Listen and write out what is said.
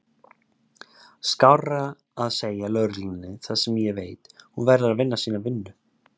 Skárra að segja lögreglunni það sem ég veit, hún verður að vinna sína vinnu.